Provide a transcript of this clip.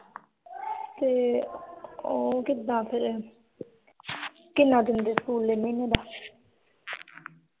ਤੇ ਉਹ ਕਿੱਦਾਂ ਫਿਰ ਕਿੰਨਾ ਦਿੰਦੇ ਸਕੂਲ ਦੇ ਮਹੀਨੇ ਦਾ